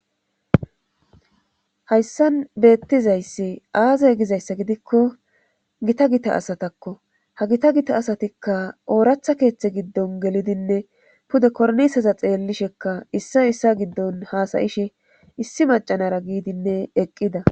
hayssan beettizayssi aazey gizayssa gidikko gita gita asatakko ha gita gita asatikka ooratha keeththe giddon gelidinne pude korniseza xeellishekka issa issa giddon haasayishe issi macanara giidinne eqqida